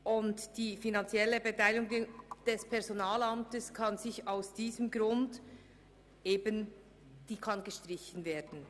Daher kann die finanzielle Beteiligung des Personalamts gestrichen werden.